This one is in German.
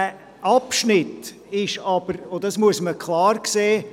Dieser Abschnitt ist auch noch ein Schulweg, das muss man klar sehen.